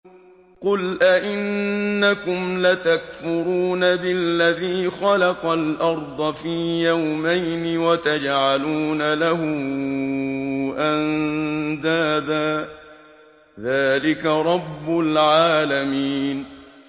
۞ قُلْ أَئِنَّكُمْ لَتَكْفُرُونَ بِالَّذِي خَلَقَ الْأَرْضَ فِي يَوْمَيْنِ وَتَجْعَلُونَ لَهُ أَندَادًا ۚ ذَٰلِكَ رَبُّ الْعَالَمِينَ